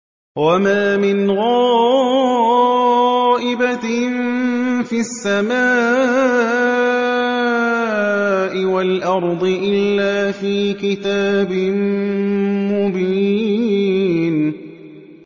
وَمَا مِنْ غَائِبَةٍ فِي السَّمَاءِ وَالْأَرْضِ إِلَّا فِي كِتَابٍ مُّبِينٍ